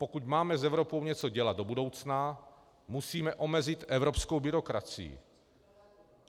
Pokud máme s Evropou něco dělat do budoucna, musíme omezit evropskou byrokracii.